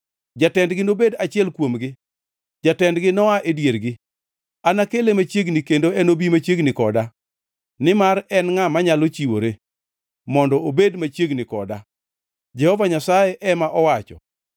Jatendgi nobed achiel kuomgi; jatendgi noa e diergi. Anakele machiegni kendo enobi machiegni koda, nimar en ngʼa manyalo chiwore, mondo obed machiegni koda?’ ” Jehova Nyasaye ema owacho.